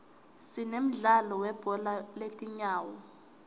sinemdlalo welibhola letinyawo